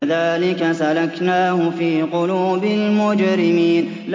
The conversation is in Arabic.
كَذَٰلِكَ سَلَكْنَاهُ فِي قُلُوبِ الْمُجْرِمِينَ